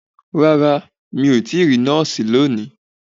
Rárá, mi ò ti rí nọ́ọ̀sì lónìí